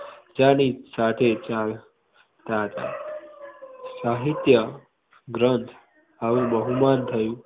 ની સાથે ચાલતા તા સાહિત્ય ગ્રંથ એનું બહુમાન થયુ હતુ.